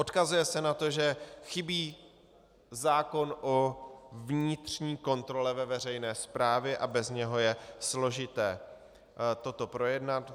Odkazuje se na to, že chybí zákon o vnitřní kontrole ve veřejné správě a bez něho je složité toto projednat.